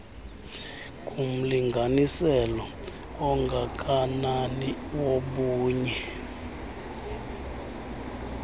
ngumlinganiselo ongakanani wobunye